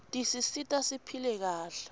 tisisita siphile kahle